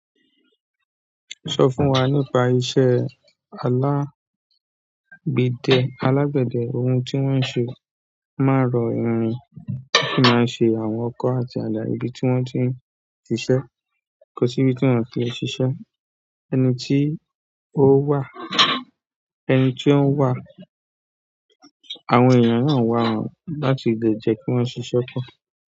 Sọ fún wa nípa iṣẹ́ alágbèdẹ. Alágbède ohun tí wọ́n ń ṣe, won máa n rọ irin, won si máa ń ṣe àwọn ọkọ́ àti àda ibi tí wọ́n ti ń ṣiṣẹ́. Kò sí ibi tí wọ́n ti le ṣiṣẹ́, ẹni tí ó wà, ẹni tí ó ń wà, àwọn èeyàn náà wà won láti lè jẹ́ kí wọ́n ṣiṣẹ́ pọ̀.